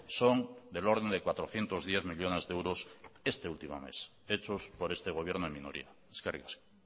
son del orden de cuatrocientos diez millónes de euros este último mes hechos por este gobierno en minoría eskerrik asko